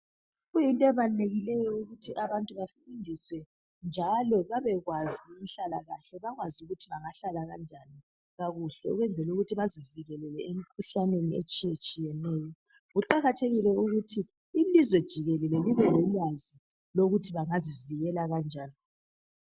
Kuyinto ebalulekileyo ukuthi abantu bafundiswe njalo babekwazi inhlalakahle bakwazi ukuthi bangahlala kanjani kakuhle ukwenzela ukuthi bazivikelele emkhuhlaneni etshiyetshiyeneyo. Kuqathekile ukuthi ilizwe jikelele libe lolwazi lokuthi bangazivikela kanjani.